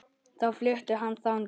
Þá flutti hann þangað.